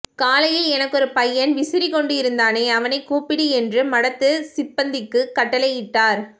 காலையில் எனக்கொரு பய்யன் விசிறிக்கொண்டு இருந்தானே அவனை கூப்பிடு என்று மடத்து சிப்பந்திக்குக் கட்டளையிட்டார்